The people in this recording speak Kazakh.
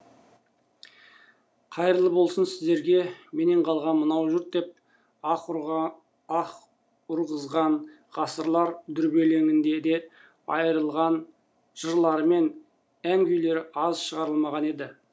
қайырлы болсын сіздерге менен қалған мынау жұрт деп аһ ұрғызған ғасырлар дүрбелеңінде ел айырылған жырлары мен ән күйлері аз шығарылмаған еді